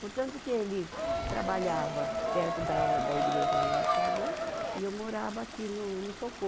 Portanto que ele trabalhava perto da o, da igreja onde nós casou e eu morava aqui no, no Socorro.